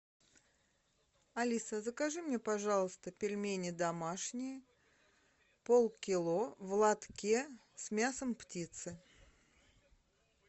алиса закажи мне пожалуйста пельмени домашние полкило в латке с мясом птицы